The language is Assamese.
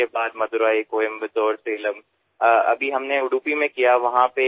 কোচিৰ পিছত মাডুৰাই কয়ম্বাটুৰ ছালেমত আৰু এতিয়া উদুপিতো আৰম্ভ কৰিছো